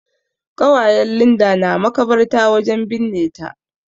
ƙawayen Linda na makabarta wajen binne ta.